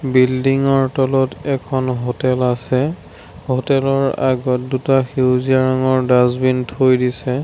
Building ৰ তলত এখন হোটেল আছে হোটেল ৰ আগত দুটা সেউজীয়া ৰঙৰ ডাচবিন থৈ দিছে।